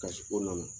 Kasi ko na na